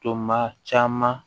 Tɔ maa caman